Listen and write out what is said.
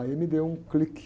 Aí me deu um clique.